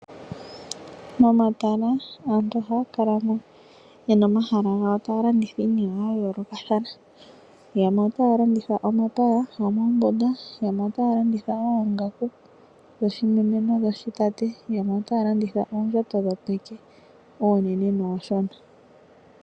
Momatala aantu ohaa kala yena omahala gawo taa landitha iinima ya yoolokathana ,yamwe otaa landitha omapaya gomoombunda yamwe otaa landitha ongaaku dhoshimeme nodhoshi tate yamwe otaa landitha oongaku oonene nooshona.